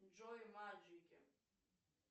джой маджики